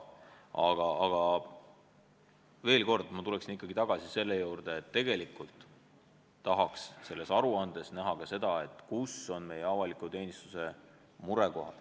Aga ma tulen veel kord tagasi selle juurde, et tegelikult tahaks selles aruandes näha seda, kus on meie avaliku teenistuse murekohad.